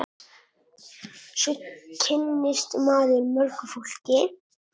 Svo kynnist maður mörgu fólki.